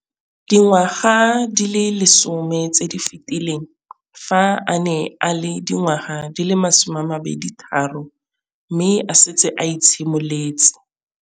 Dingwaga di le 10 tse di fetileng, fa a ne a le dingwaga di le 23 mme a setse a itshimoletse